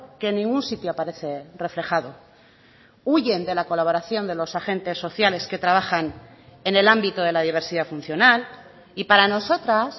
que en ningún sitio aparece reflejado huyen de la colaboración de los agentes sociales que trabajan en el ámbito de la diversidad funcional y para nosotras